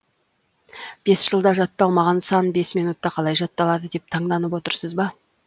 бес жылда жатталмаған сан бес минутта қалай жатталды деп таңданып отырсыз ба